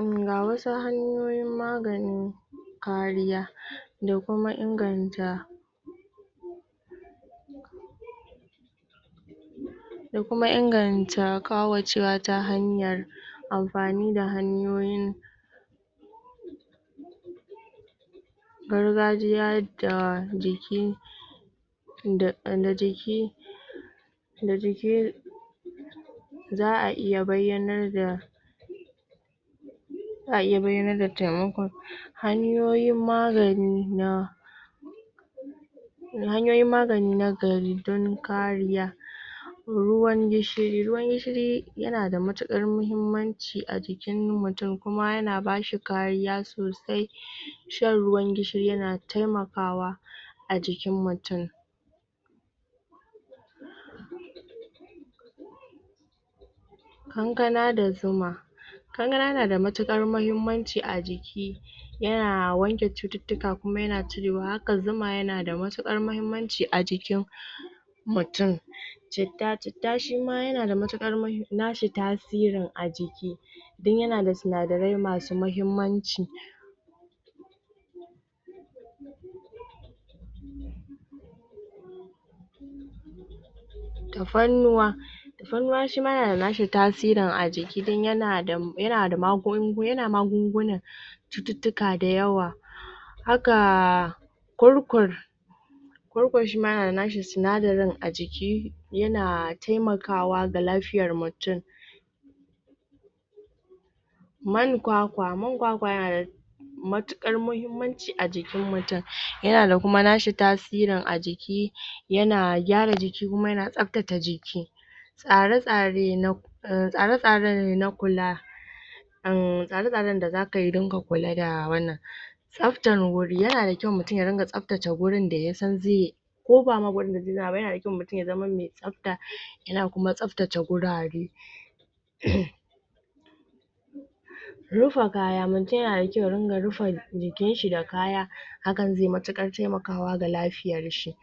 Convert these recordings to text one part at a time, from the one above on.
Emm ga wasu hanyoyin magani kariya da kuma inganta da kuma inganta ƙauracewa ta hanyar amfani da hanyoyin gargajiya da jiki da da jiki da jiki za a iya bayyanar da za a iya bayyanar da taimakon hanyoyin magani na hanyoyin magani na gari don kariya ruwan gishiri, ruwan gishiri yana da matuƙar muhimmanci a jikin mutum kuma yana ba shi kariya sosai shan ruwan gishiri yana taimakawa a jikin mutum kankana da zuma kankana yana da matuƙar mahimmanci a jiki yana wanke cututtuka kuma yana cirewa haka zuma yana da matuƙar mahimmanci a jikin mutum citta citta shi ma yana matuƙar mahim... na shi tasirin a jiki don yana da sinadarai masu mahimmanci tafarnuwa tafannuwa shi ma yana da shi tasirin a jiki don yana da yana magungunan cututtuka dayawa haka kurkur kurkur shi ma yana da na shi sinadarin a jiki yana taimakawa ga lafiyar mutum man kwakwa, man kwakwa yana da matuƙar mahimmanci a jikin mutum yana da kuma na shi tasirin a jiki yana gyara jiki kuma yana tsaftace jiki tsare-tsare na em tsare-tsare na kula emm tsare-tsaren da zaka yi don ka kula da wannan tsaftar wuri yana da kyau mutum ya ringa tsaftace wurin da ya san zai ko ba ma wurin da zai zauna ba yana da kyau mutum ya zama mai tsafta yana kuma tsaftace gurare emm rufa kaya mutum yana da kyau ya ringa rufa jikinshi da kaya hakan zai yi matuƙar taimakawa ga lafiyarshi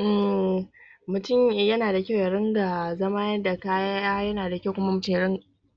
emmmm mutum yana da kyau ya ringa zama da kaya yana da kyau kuma mutum ya ringa